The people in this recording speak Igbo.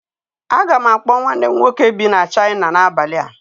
Aga m akpọ nwanne m nwoke bi na China n'abalị a